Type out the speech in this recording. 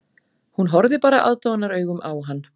Hún horfði bara aðdáunaraugum á hann